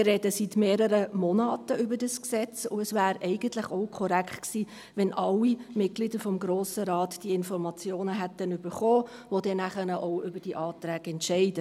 Wir reden seit mehreren Monaten über dieses Gesetz, und es wäre eigentlich auch korrekt gewesen, wenn alle Mitglieder des Grossen Rates, die nachher auch über diese Anträge entscheiden, diese Informationen erhalten hätten.